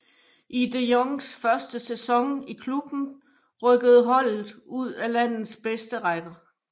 I de Jongs første sæson i klubben rykkede holdet ud af landets bedste række